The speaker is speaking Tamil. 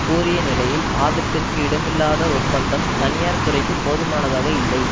கூறிய நிலையில் ஆபத்திற்கு இடமில்லாத ஒப்பந்தம் தனியார் துறைக்கு போதுமானதாக இல்லை